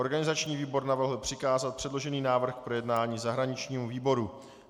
Organizační výbor navrhl přikázat předložený návrh k projednání zahraničnímu výboru.